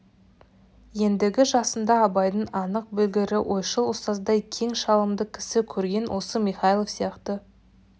ендігі жасында абайдың анық білгірі ойшыл ұстаздай кең шалымды кісі көрген осы михайлов сияқты